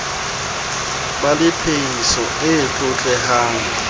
ba le phehiso e tlotlehang